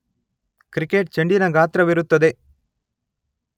Cricket ಚೆಂಡಿನ ಗಾತ್ರವಿರುತ್ತದೆ.